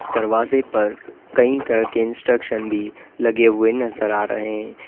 दरवाजे पर कई तरह के इंस्ट्रक्शन भी लगे हुए नजर आ रहे हैं।